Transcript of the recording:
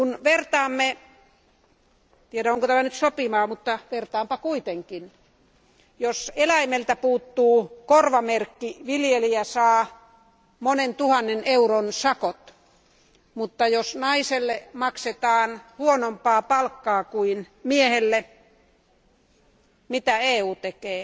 En tiedä, onko tämä nyt sopivaa, mutta vertaanpa kuitenkin jos eläimeltä puuttuu korvamerkki, viljelijä saa monen tuhannen euron sakot, mutta jos naiselle maksetaan huonompaa palkkaa kuin miehelle, mitä EU tekee?